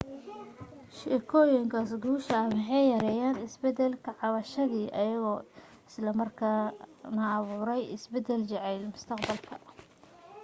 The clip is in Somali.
sheekooyinkaas guusha waxay yareeyeen isbeddel ka cabsashadii iyagoo isla markaana abuuraya isbeddel jacayl mustaqbalka ah